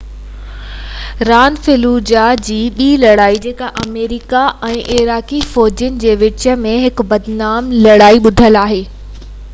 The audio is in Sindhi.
اها راند فلوجاه جي ٻي لڙائي جيڪا آمريڪي ۽ عراقي فوجين جي وچ ۾ هڪ بدنام لڙائي آهي تي ٻڌل آهي